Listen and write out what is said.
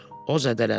O zədələndi.